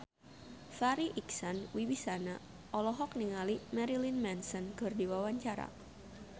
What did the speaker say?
Farri Icksan Wibisana olohok ningali Marilyn Manson keur diwawancara